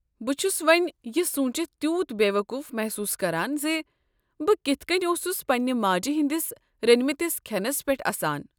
بہٕ چھُس وۄنۍ یہِ سوٗنٛچِتھ تیوٗت بےٚ وقوٗف محسوٗس کران زِ بہِ كِتھہٕ کٔنۍ اوسُس پنٛنہ ماجہٕ ہٕنٛدس رٔنمٕتس کھٮ۪نس پٮ۪ٹھ اسان۔